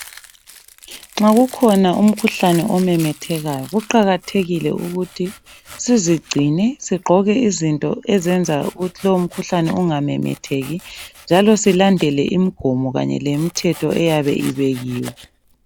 Nxa kukhona umkhuhlane omemethekayo kuqakathekile ukuthi sizigcine ,sigqoke izinto ezenza ukuthi lowu mkhuhlane ungamemetheki njalo silandele lemigomo lemithetho eyabe ibekiwe.